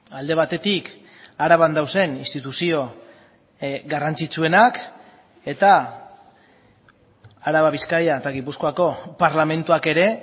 alde batetik araban dauden instituzio garrantzitsuenak eta araba bizkaia eta gipuzkoako parlamentuak ere